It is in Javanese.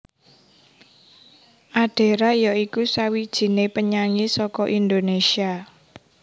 Adera ya iku sawijiné penyanyi saka Indonésia